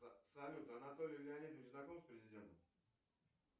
салют анатолий леонидович знаком с президентом